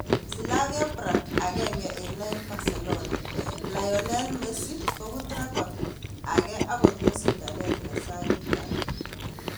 Slavia Prague 1-2 Barcelona: Lionel Messi kobut rekot ake akot ko sindanet ne sagitat.